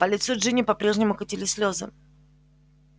по лицу джинни по-прежнему катились слезы